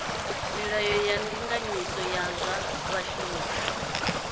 milayo ya ndinganyiso ya zwa vhashumi